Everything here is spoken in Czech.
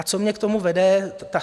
A co mě k tomu vede?